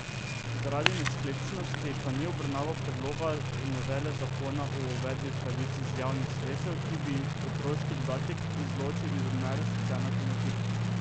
Zaradi nesklepčnosti pa ni obravnaval predloga novele zakona o uveljavljanju pravic iz javnih sredstev, ki bi otroški dodatek izločil iz odmere socialne pomoči.